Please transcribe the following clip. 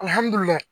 Alihamudulila